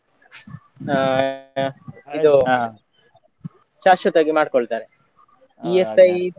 ಹಾ ಇದು ಶಾಶ್ವತವಾಗಿ ಮಾಡ್ಕೊಳ್ತಾರೆ .